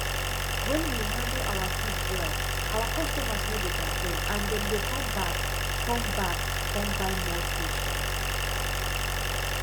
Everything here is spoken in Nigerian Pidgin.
when we handle our fish well our customers no dey complain and dem dey come come back come buy more fish um